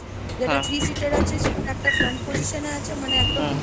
যেটা three seat এর আছে, সেটা একটা front position এ আছে মানে একটা।